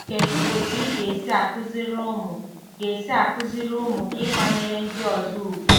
Kedu otú ị ga-esi akụziri ụmụ ga-esi akụziri ụmụ gị ịkwanyere ndị ọzọ ùgwù